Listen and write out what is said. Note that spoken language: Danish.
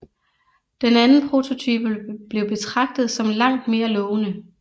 Den anden prototype blev betragtet som langt mere lovende